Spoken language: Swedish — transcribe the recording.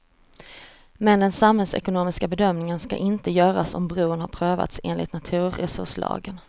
Men den samhällsekonomiska bedömningen ska inte göras om bron har prövats enligt naturresurslagen.